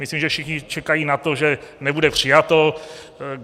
Myslím, že všichni čekají na to, že nebude přijato.